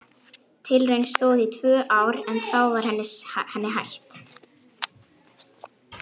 Tilraunin stóð í tvö ár en þá var henni hætt.